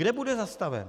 Kde bude zastaven?